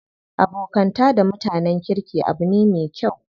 Abokanta da mutanen kirki abu ne me kyau.